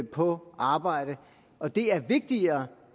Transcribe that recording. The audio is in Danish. på arbejde og det er vigtigere